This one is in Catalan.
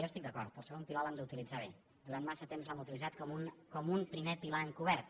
jo hi estic d’acord el segon pilar l’hem d’utilitzar bé durant massa temps l’hem utilitzat com un primer pilar encobert